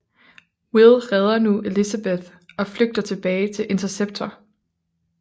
Will redder nu Elizabeth og flygter tilbage til Interceptor